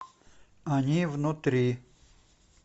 они внутри